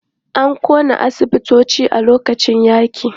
An ƙona asibitoci a lokacin yaƙi.